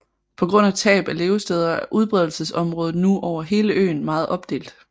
På grund af tab af levesteder er udbredelsesområdet nu over hele øen meget opdelt